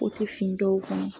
fin dɔw kɔni